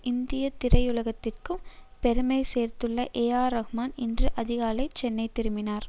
இந்திய திரையுலகத்திற்கும் பெருமைசேர்த்துள்ள ஏஆர்ரஹ்மான் இன்று அதிகாலை சென்னை திரும்பினார்